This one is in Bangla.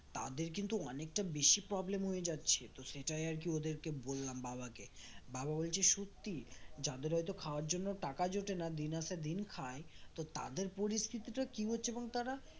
তাদের কিন্তু অনেকটা বেশি problem হয়ে যাচ্ছে তো সেটাই আরকি ওদেরকে বললাম বাবাকে বাবা বলছে সত্যি যাদের হয়তো খাওয়ার জন্য টাকা জোটে না দিন আসে দিন খায় তো তাদের পরিস্থিতিটা কি হচ্ছে তারা